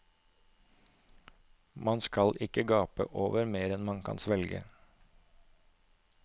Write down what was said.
Man skal ikke gape over mer enn man kan svelge.